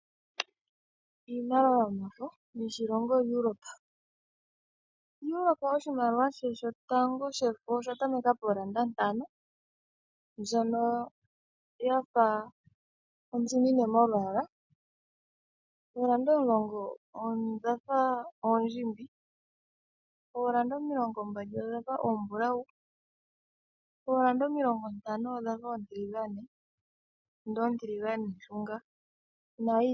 Iimaliwa yomafo yoshilongo Europa. Europa oshimaliwa she shotango shefo osha tameka pooeuro ntano, mbyono ya fa ontsimine molwaala. Ooeuro omulongo odha fa oondjimbi, ooeuro omilongombali odha fa oombulawu, ooeuro omilongontano odha fa oontiliganeshunga nayilwe.